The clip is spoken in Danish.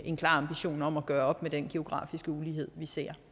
en klar ambition om at gøre op med den geografiske ulighed vi ser